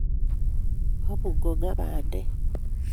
Kabukongaa bandek